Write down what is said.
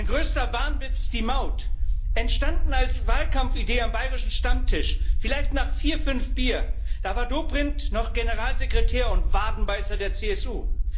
Sein größter Wahnwitz die Maut, entstanden als Wahlkampfidee am bayrischen Stammtisch, vielleicht nach vier, fünf Bier, da war Dobrindt noch Generalsekretär und Wadenbeißer der CSU.